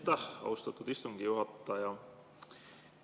Aitäh, austatud istungi juhataja!